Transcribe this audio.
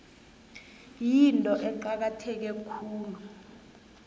yinto eqakatheke khulu